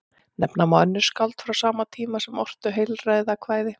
Nefna má önnur skáld frá sama tíma sem ortu heilræðakvæði.